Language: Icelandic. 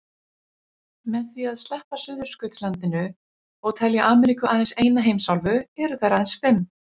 Með því að sleppa Suðurskautslandinu og telja Ameríku aðeins eina heimsálfu eru þær aðeins fimm.